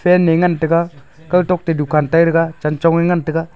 fan ngan taiga kawtok toh dukan tai taiga chanchong e ngan taiga.